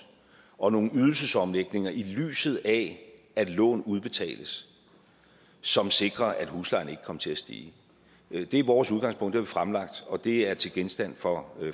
og nogle ydelsesomlægninger i lyset af at lån udbetales som sikrer at huslejen ikke kommer til at stige det er vores udgangspunkt det har vi fremlagt og det er til genstand for